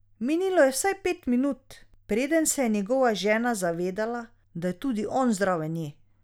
Minilo je vsaj pet minut, preden se je njegova žena zavedela, da je tudi on zraven nje.